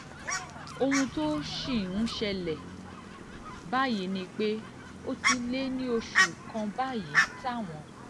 ohun tó sì ń ṣẹlẹ̀ báyìí ni pé ó ti lé ní oṣù kan báyìí táwọn